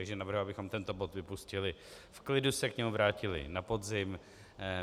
Takže navrhuji, abychom tento bod vypustili, v klidu se k němu vrátili na podzim.